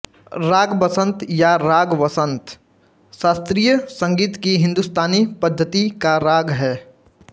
राग बसंत या राग वसंत शास्त्रीय संगीत की हिंदुस्तानी पद्धति का राग है